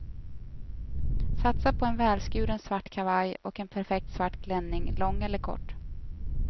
Satsa på en välskuren svart kavaj och en perfekt svart klänning lång eller kort.